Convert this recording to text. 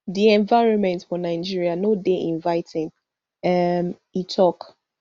di environment for nigeria no dey inviting um e tok